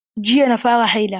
Jiya na fara haila.